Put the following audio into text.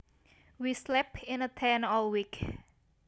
We slept in a tent all week